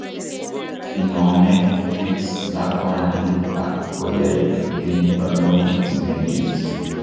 Inomee tics eng' lakwandit ak koyait eng' barnotik chemengech